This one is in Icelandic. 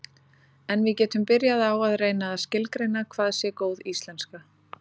En við getum byrjað á að reyna að skilgreina hvað sé góð íslenska.